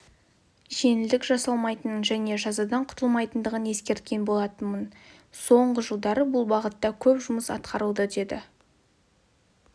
жеңілдік жасалмайтынын және жазадан құтылмайтынын ескерткен болатынмын соңғы жылдары бұл бағытта көп жұмыс атқарылды деді